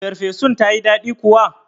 Ferfesun tayi daɗi kuwa?